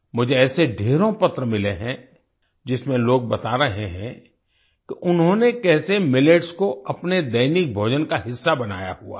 मुझे ऐसे ढ़ेरों पत्र मिले हैं जिसमें लोग बता रहे हैं उन्होंने कैसे मिलेट्स को अपने दैनिक भोजन का हिस्सा बनाया हुआ है